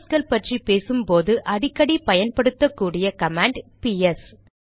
ப்ராசஸ்கள் பற்றி பேசும்போது அடிக்கடி பயன்படுத்தக் கூடிய கமாண்ட் பிஎஸ்